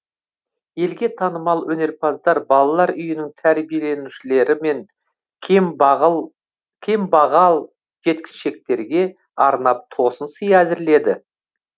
елге танымал өнерпаздар балалар үйінің тәрбиеленушілері мен кембағал жеткіншектерге арнап тосын сый әзірледі